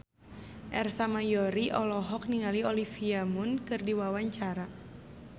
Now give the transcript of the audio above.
Ersa Mayori olohok ningali Olivia Munn keur diwawancara